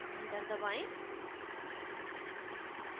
enter दबाएँ